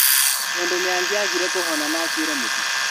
Tondũ nĩangĩagire kuhona na akuĩre mũtitũ